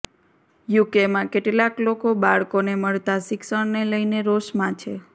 યૂકેમાં કેટલાક લોકો બાળકોને મળતા શિક્ષણને લઈને રોષમાં છે